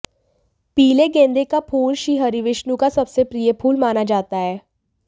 पीले गेंदे का फूल श्रीहरि विष्णु का सबसे प्रिय फूल माना जाता है